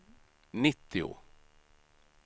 nittio